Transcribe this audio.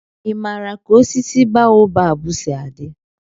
ị maara ka osisi baobabu si adị?